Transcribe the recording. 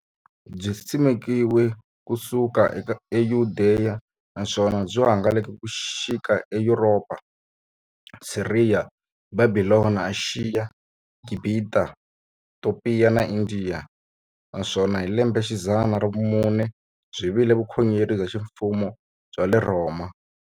Byisimekiwe ku suka e Yudeya, naswona byi hangalake ku xika e Yuropa, Siriya, Bhabhilona, Ashiya, Gibhita, Topiya na Indiya, naswona hi lembexidzana ra vumune byi vile vukhongeri bya ximfumo bya le Rhoma.